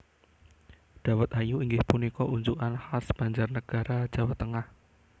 Dawet ayu inggih punika unjukan khas Banjarnagara Jawa Tengah